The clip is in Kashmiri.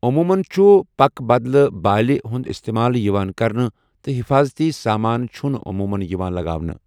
عموٗمَن چھُ پک بدلہٕ بالہِ ہُنٛد استعمال یِوان کرنہٕ، تہٕ حفاظٔتی سامان چھُنہٕ عموٗمَن یِوان لَگاونہٕ۔